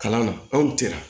Kalan na anw tɛ yan